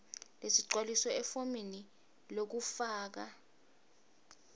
lesigcwalisiwe efomini lekufaka